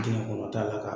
Dingɛ kɔnɔ ta la ka